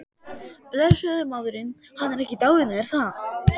Blessaður maðurinn, hann er ekki dáinn er það?